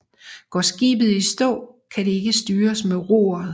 Går skibet i stå kan det ikke styres med roret